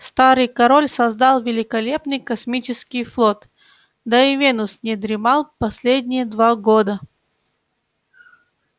старый король создал великолепный космический флот да и венус не дремал последние два года